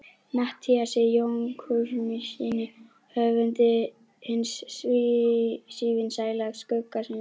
Matthíasi Jochumssyni höfundi hins sívinsæla Skugga-Sveins.